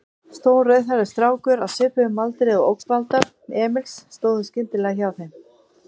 Stór, rauðhærður strákur á svipuðum aldri og ógnvaldar Emils stóð skyndilega hjá þeim.